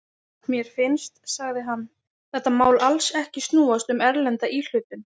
Mér finnst, sagði hann, þetta mál alls ekki snúast um erlenda íhlutun.